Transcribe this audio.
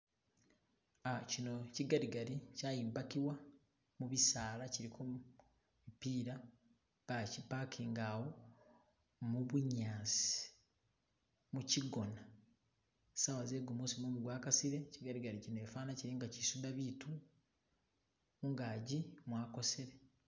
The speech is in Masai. Uh chino chi gadigadi chatimbakibwa mubisaala kiliko mupila baki pakinga awo mubunyaasi, mukigoona , saawa ze gumuusi mumu gwa kasiile, chi gadigadi chino fana chili nga ichisuda biitu, mungaji mwakosele.